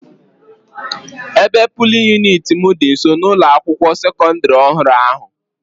Ebe polin yuniti m dị nso n'ụlọ akwụkwọ sekọdịrị ọhụrụ ahụ.